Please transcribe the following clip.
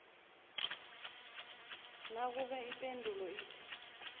nakube ipendulo ithi